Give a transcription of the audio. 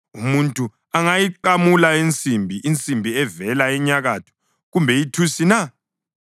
Umuntu angayiqamula insimbi, insimbi evela enyakatho kumbe ithusi na?